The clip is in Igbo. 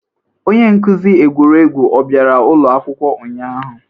Onye nkuzi egwuregwu o bịara ụlọ akwụkwọ ụnyahụ?